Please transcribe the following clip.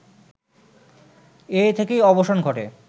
এ থেকেই অবসান ঘটে